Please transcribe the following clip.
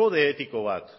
kode etiko bat